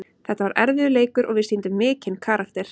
Þetta var erfiður leikur og við sýndum mikinn karakter.